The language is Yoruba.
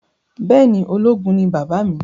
Bẹẹni ológun ni bàbá mi